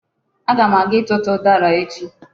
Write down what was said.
Aga m aga ịtụtụ ụdara echi.